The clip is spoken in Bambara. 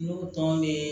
N'u tɔn be